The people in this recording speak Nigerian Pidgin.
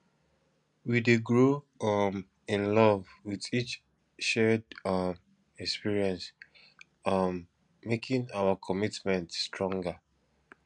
we dey grow um in love with each shared um experience um making our commitment stronger